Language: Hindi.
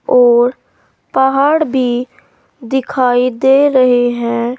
और पहाड़ भी दिखाई दे रहे हैं।